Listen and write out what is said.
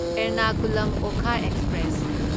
Ernakulam Okha express